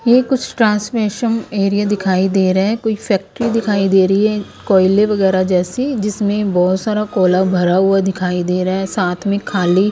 यह कुछ ट्रांसलेशम एरिया दिखाई दे रहा है कोई फैक्ट्री दिखाई दे रही है कोयले वगैरा जैसी जिसमें बहुत सारा कोला भरा हुआ दिखाई दे रहा है साथ में खाली--